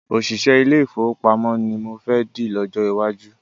Òṣìṣẹ́ ilé-ìfowópamọ́ ni mo fẹ́ dì lọ́jọ́ iwájú